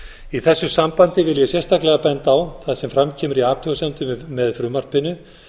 í þessu sambandi vil ég sérstaklega benda á það sem fram kemur í athugasemdum með frumvarpinu